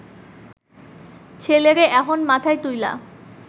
ছেলেরে এহন মাথায় তুইলা